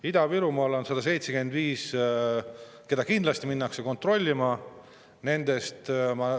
Ida-Virumaal on 175, mida kindlasti minnakse kontrollima.